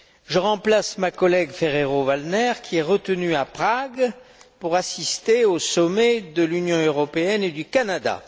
Je remplace ma collègue Ferrero Waldner, retenue à Prague, pour assister au sommet de l'Union européenne et du Canada.